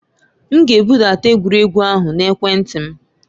M ga-ebudata egwuregwu ahụ na ekwentị m.